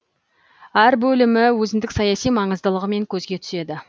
әр бөлімі өзіндік саяси маңыздылығымен көзге түседі